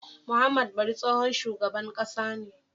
Muhammad bari tsohon shugaban ƙasa ne